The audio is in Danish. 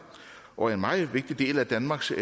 og en meget vigtig del af danmarks